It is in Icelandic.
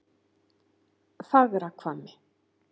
Fagrahvammi